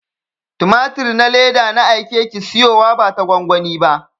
Tumatir na leda na aike ki siyowa bata gwangwani ba.